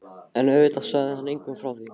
En auðvitað sagði hann engum frá því.